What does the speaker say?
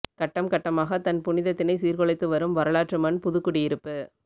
கட்டம் கட்டமாக தன் புனிதத்தினை சீர்குலைத்து வரும் வரலாற்று மண் புதுக்குடியிருப்பு